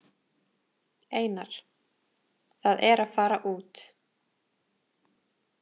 Einar: Það er að fara út.